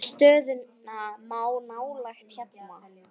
Stöðuna má nálgast hérna.